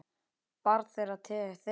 Barn þeirra Thea.